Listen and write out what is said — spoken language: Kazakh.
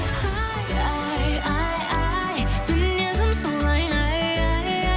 ай ай ай ай мінезім солай ай ай ай